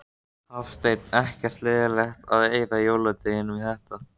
Hafsteinn: Ekkert leiðilegt að eyða jóladeginum í þetta?